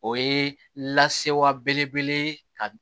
O ye lasewa bele bele ye ka